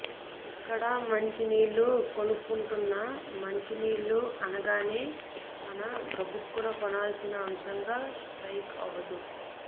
ఇక్కడా మంచి నీళ్ళు కొనుక్కుంటున్నా మంచి నీళ్ళు అనగానే మన గబుక్కున కొనాల్సిన అంశంగా స్ట్రయిక్ అవదు